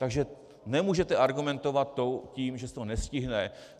Takže nemůžete argumentovat tím, že se to nestihne.